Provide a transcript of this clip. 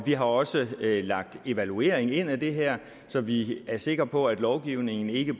har også lagt en evaluering ind af det her så vi er sikre på at lovgivningen ikke